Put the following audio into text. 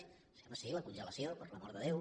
sí home sí la congelació per l’amor de déu